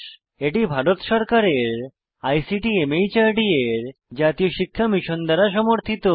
এটি ভারত সরকারের ICT MHRD এর জাতীয় শিক্ষা মিশন দ্বারা সমর্থিত